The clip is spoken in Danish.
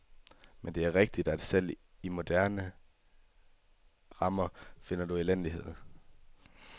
Men det er rigtigt, at selv i moderne rammer finder du elendighed.